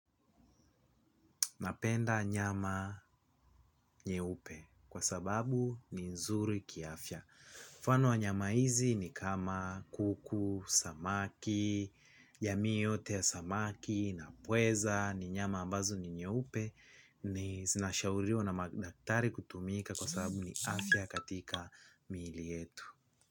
Napenda nyama nyeupe kwa sababu ni nzuri kiafya. Mfano wa nyama hizi ni kama kuku, samaki, jamii yote ya samaki na pweza ni nyama ambazo ni nyeupe. Ni zinashauriwa na daktari kutumika kwa sababu ni afya katika miili yetu.